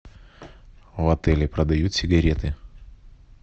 в отеле продают сигареты